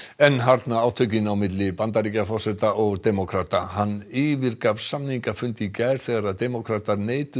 enn harðna átökin á milli Bandaríkjaforseta og demókrata hann yfirgaf samningafund í gær þegar demókratar neituðu